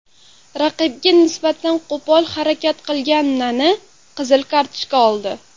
Raqibiga nisbatan qo‘pol harakat qilgan Nani qizil kartochka oldi.